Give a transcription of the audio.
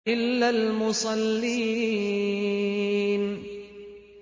إِلَّا الْمُصَلِّينَ